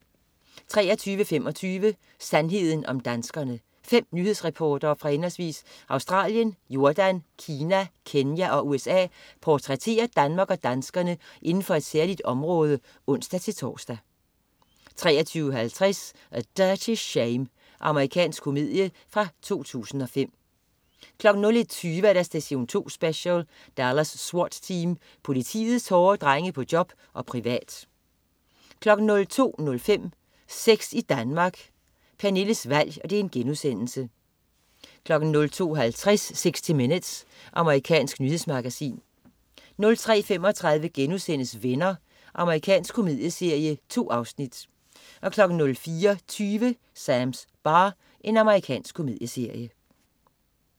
23.25 Sandheden om danskerne. Fem nyhedsreportere fra henholdsvis Australien, Jordan, Kina, Kenya og USA portrætterer Danmark og danskerne inden for et særligt område (ons-tors) 23.50 A Dirty Shame. Amerikansk komedie fra 2005 01.20 Station 2 Special: Dallas SWAT Team. Politiets hårde drenge på job og privat 02.05 Sex i Danmark. Pernilles valg* 02.50 60 minutes. Amerikansk nyhedsmagasin 03.35 Venner.* Amerikansk komedieserie. 2 afsnit 04.20 Sams bar. Amerikansk komedieserie